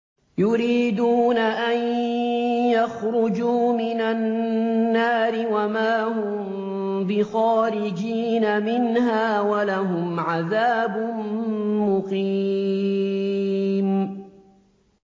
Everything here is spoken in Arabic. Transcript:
يُرِيدُونَ أَن يَخْرُجُوا مِنَ النَّارِ وَمَا هُم بِخَارِجِينَ مِنْهَا ۖ وَلَهُمْ عَذَابٌ مُّقِيمٌ